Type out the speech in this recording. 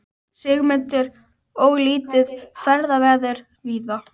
Sigmundur: Og lítið ferðaveður víða?